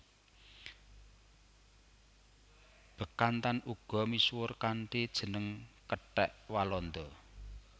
Bekantan uga misuwur kanthi jeneng kethèk Walanda